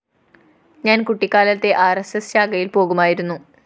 ഞാന്‍ കുട്ടിക്കാലത്തേ ആര്‍എസ്‌എസ്‌ ശാഖയില്‍ പോകുമായിരുന്നു